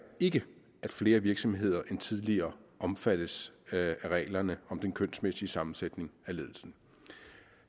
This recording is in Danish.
ikke at flere virksomheder end tidligere omfattes af reglerne om den kønsmæssige sammensætning af ledelsen